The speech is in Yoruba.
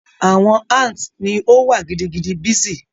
Awọn ants ni o wa gidigidi busy